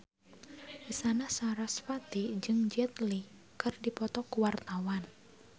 Isyana Sarasvati jeung Jet Li keur dipoto ku wartawan